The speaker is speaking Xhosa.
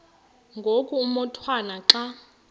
ngoku umotwana xa